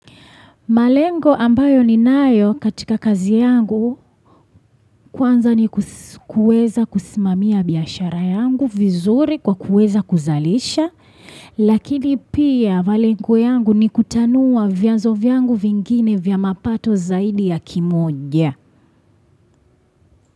Malengo ambayo ninayo katika kazi yangu kwanza ni kuweza kusimamia biashara yangu vizuri kwa kuweza kuzalisha. Lakini pia malengo yangu ni kutanua vyanzo vyangu vingine vya mapato zaidi ya kimoja.